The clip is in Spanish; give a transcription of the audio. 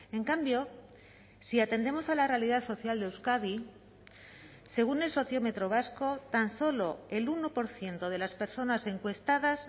en cambio si atendemos a la realidad social de euskadi según el sociómetro vasco tan solo el uno por ciento de las personas encuestadas